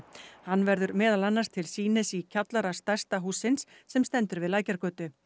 hann verður meðal annars til sýnis í kjallara stærsta hússins sem stendur við Lækjargötu